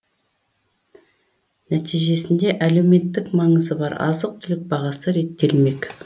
нәтижесінде әлеуметтік маңызы бар азық түлік бағасы реттелмек